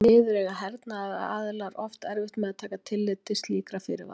munurinn á hreinni landsframleiðslu og vergri landsframleiðslu liggur í afskriftum